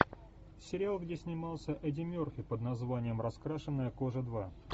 сериал где снимался эдди мерфи под названием раскрашенная кожа два